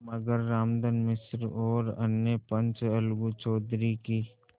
मगर रामधन मिश्र और अन्य पंच अलगू चौधरी की